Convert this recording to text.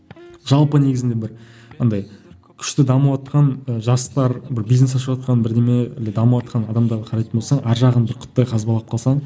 жалпы негізінде былай андай күшті дамыватқан ы жастар бір бизнес ашыватқан бірдеме или дамыватқан адамдарға қарайтын болсаң арғы жағын бір қазбалап қалсаң